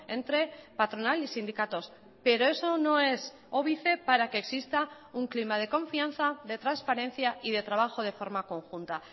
entre patronal y sindicatos pero eso no es óbice para que exista un clima de confianza de transparencia y de trabajo de forma conjunta